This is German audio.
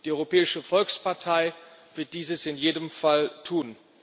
Die Europäische Volkspartei wird dies in jedem Fall tun.